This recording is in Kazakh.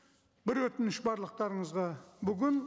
бір өтініш барлықтарыңызға бүгін